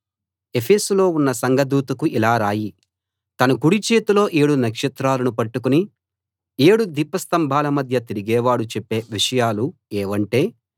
ఎఫెసులో ఉన్న సంఘదూతకు ఇలా రాయి తన కుడి చేతిలో ఏడు నక్షత్రాలను పట్టుకుని ఏడు దీపస్తంభాల మధ్య తిరిగేవాడు చెప్పే విషయాలు ఏవంటే